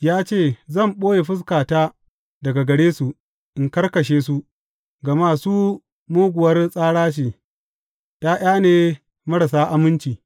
Ya ce, Zan ɓoye fuskata daga gare su, in ga ƙarshensu; gama su muguwar tsara ce, ’ya’ya ne marasa aminci.